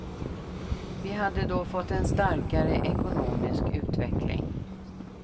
Vi hade då fått en starkare ekonomisk utveckling.